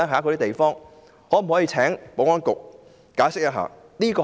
可否請保安局解釋一下？